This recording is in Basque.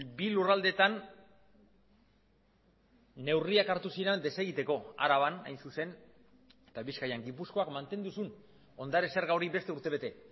bi lurraldeetan neurriak hartu ziren desegiteko araban hain zuzen eta bizkaian gipuzkoak mantendu zuen ondare zerga hori beste urtebete